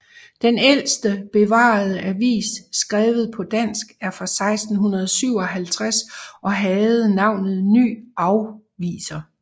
Den ældste bevarede avis skrevet på dansk er fra 1657 og havde navnet Ny Affvjser